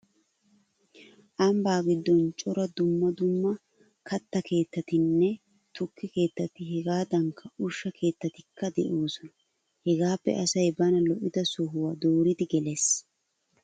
Ambbaa giddon cora dumma dumma katta keettatinne tukke keettati hegaadankka ushsha keettatikka de'oosona. Hegaappe asay bana lo'ida sohuwa dooridi gelees.